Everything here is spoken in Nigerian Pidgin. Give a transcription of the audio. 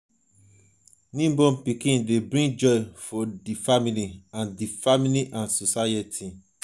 newborn pikin de bring joy for di family and di family and society